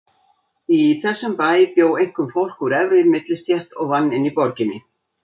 Í þessum bæ bjó einkum fólk úr efri millistétt og vann inni í borginni.